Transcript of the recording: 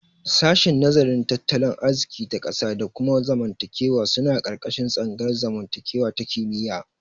Shashin nazarin tattalin arziki ta ƙasa da kuma zamantakewa suna ƙarƙashin tsangayar zamantakewa ta kimiyya.